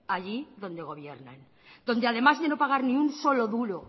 allí donde gobiernan donde además de no pagar ni un solo duro